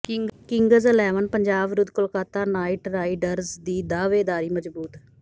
Kings Eleven Punjab ਵਿਰੁੱਧ Kolkata Knight Riders ਦੀ ਦਾਅਵੇਦਾਰੀ ਮਜ਼ਬੂਤ